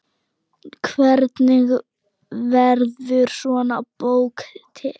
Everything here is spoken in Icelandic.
Hvernig verður svona bók til?